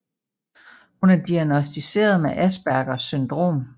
Hun er diagnosticeret med aspergers syndrom